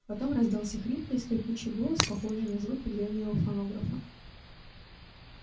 потом раздался хриплый скрипучий голос похожий на звуки древнего фонографа